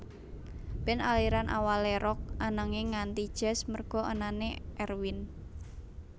Band aliran awalé Rock ananging ganti jazz merga anané Erwin